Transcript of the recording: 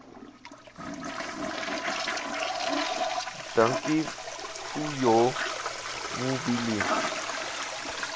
dankie vuyo mbuli